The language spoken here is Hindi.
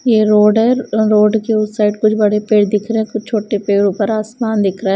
यह रोड है रोड के उस साइड कुछ बड़े पेड़ दिख रहे हैं कुछ छोटे पेड़ ऊपर आसमान दिख रहा है।